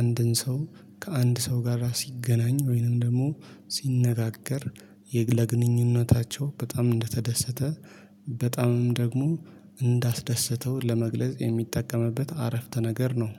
አንድን ሰው ከአንድ ሰው ጋር ሲገናኝ ወይንም ደግሞ ሲነጋገር ለግንኙነታቸው በጣም እንደተደሰተ በጣምም ደግሞ እንዳስደሰተው ለመግለጽ የሚጠቀምበት አረፍተ ነገር ነው